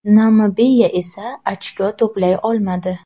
Namibiya esa ochko to‘play olmadi.